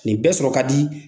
Nin bɛ sɔrɔ ka di